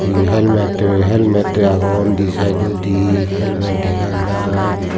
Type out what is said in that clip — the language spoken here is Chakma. hee helmet de helmet de agon di sydodi helmet dega jai.